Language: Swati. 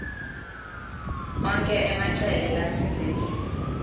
onkhe emacele latsintsekile